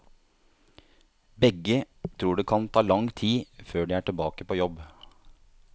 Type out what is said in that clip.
Begge tror det kan ta lang tid før de er tilbake på jobb.